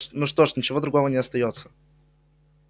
ну что ж ничего другого не остаётся